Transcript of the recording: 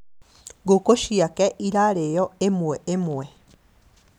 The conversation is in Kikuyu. Ngũkũ ciakwa irarĩo ĩmwe ĩmwe